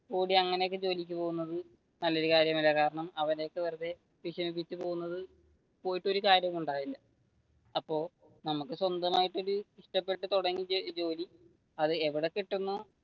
കൂടി അങ്ങനെയൊക്കെ ജോലിക്ക് പോകുന്നത് നല്ലയൊരു കാര്യമല്ല കാരണം അവരെയൊക്കെ വെറുതെ വിഷമിപ്പിച്ചു പോവുന്നത് പോയിട്ട് ഒരു കാര്യവും ഉണ്ടാവില്ല, അപ്പൊ നമുക്ക് സ്വന്തം ആയിട്ടുള്ള ഒരു ഇഷ്ടപ്പെട്ടു തുടങ്ങി ജോലി അത് ഇവിടെ കിട്ടുന്നുവോ